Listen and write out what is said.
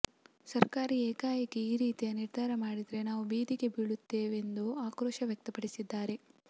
ಸರ್ಕಾರ ಏಕಾಏಕಿ ಈ ರೀತಿಯ ನಿರ್ಧಾರ ಮಾಡಿದ್ರೆ ನಾವು ಬೀದಿಗೆ ಬೀಳುತ್ತೇವೆಂದು ಆಕ್ರೋಶವ್ಯಕ್ತಪಡಿಸಿದ್ದಾರೆ